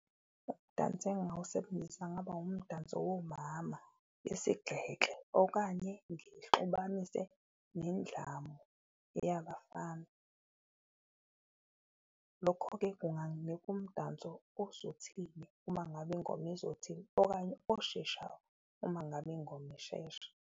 Umdanso engawusebenzisa kungaba umdanso womama besigeke okanye ngixubanise nendlamu eyabafana, lokho-ke kunganginika umdanso ozothile uma ngabe ingoma izothile, okanye osheshayo uma ngabe ingoma ishesha.